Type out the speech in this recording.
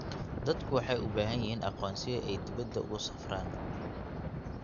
Dadku waxay u baahan yihiin aqoonsiyo ay dibadda ugu safraan.